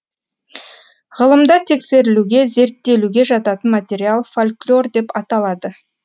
ғылымда тексерілуге зерттелуге жататын материал фольклор деп аталады